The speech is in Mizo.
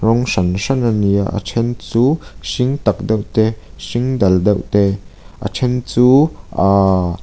rawng hran hran ani a a then chu hring tak deuh te hring dal deuh te a then chu aa--